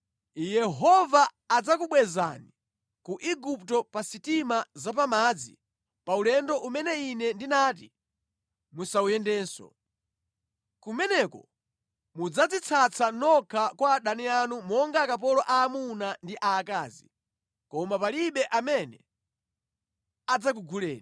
Yehova adzakubwezani ku Igupto pa sitima zapamadzi paulendo umene Ine ndinati musawuyendenso. Kumeneko mudzadzitsatsa nokha kwa adani anu monga akapolo aamuna ndi aakazi, koma palibe amene adzakuguleni.